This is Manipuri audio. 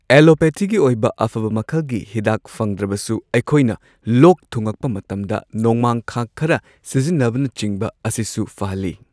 ꯑꯦꯂꯣꯄꯦꯊꯤꯒꯤ ꯑꯣꯏꯕ ꯑꯐꯕ ꯃꯈꯜꯒꯤ ꯍꯤꯗꯥꯛ ꯐꯪꯗ꯭ꯔꯕꯁꯨ ꯑꯩꯈꯣꯏꯅ ꯂꯣꯛ ꯊꯨꯉꯛꯄ ꯃꯇꯝꯗ ꯅꯣꯡꯃꯥꯡꯈꯥ ꯈꯔ ꯁꯤꯖꯤꯟꯅꯕꯅꯆꯤꯡꯕ ꯑꯁꯤꯁꯨ ꯐꯍꯜꯂꯤ꯫